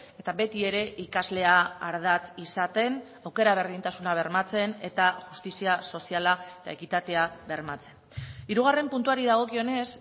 eta beti ere ikaslea ardatz izaten aukera berdintasuna bermatzen eta justizia soziala eta ekitatea bermatzen hirugarren puntuari dagokionez